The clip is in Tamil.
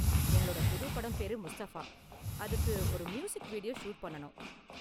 எங்களோட புது படம் பேரு 'முஸ்தபா', அதுக்கு ஒரு மியூசிக் வீடியோ ஷூட் பண்ணனும்.